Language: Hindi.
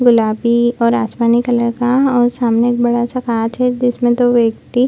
गुलाबी और आसमानी कलर का और सामने एक बड़ा-सा कांच है जिसमे दो व्यक्ति --